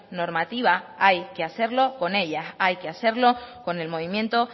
normativa hay que hacerlo con ellas hay que hacerlo con el movimiento